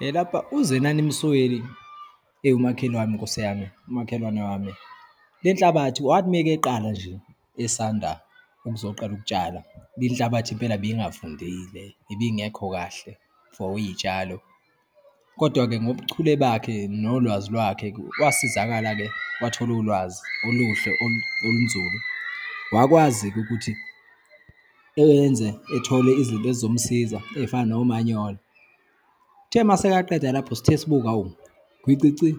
Elapha, uZenani Msweli eyi umakhelwane, Nkosi yami, umakhelwane wami. Le nhlabathi, wathi uma-ke eqala nje, esanda ukuzoqala ukutshala le nhlabathi impela beyingavundile, ibingekho kahle for iyitshalo. Kodwa-ke ngobuchule bakhe nolwazi lwakhe, wasizakala-ke wathola ulwazi oluhle, olunzulu. Wakwazi-ke ukuthi eyenze, ethole izinto ezizomsiza eyifana nomanyolo. Uthe uma sekaqeda lapho, sithe sibuka, hawu, gwicici